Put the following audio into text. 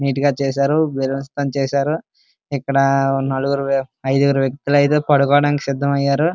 నీటు గా చేశారు. బెలూన్స్ తో చేశారు. ఇక్కడ నలుగురు ఐదుగురు వ్యక్తులు పడుకోవడానికి సిద్ధమయ్యారు.